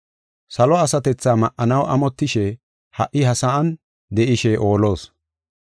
Salo asatethaa ma7anaw amotishe ha77i ha sa7an de7ishe oolos.